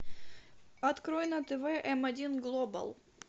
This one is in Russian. открой на тв м один глобал